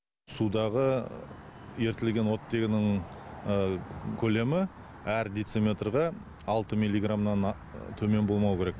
судағы ерітілген оттегінің көлемі әр дециметрға алты милиграммнан төмен болмауы керек